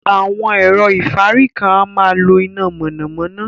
Awọn ẹ̀rọ̀ ifárí kan à màá ń lọ iná mọ̣namọ̣na.